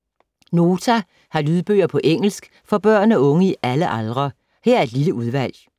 Nota har lydbøger på engelsk for børn og unge i alle aldre. Her er et lille udvalg.